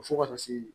Fo ka taa se